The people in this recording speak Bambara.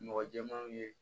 Mɔgɔ jɛmanw ye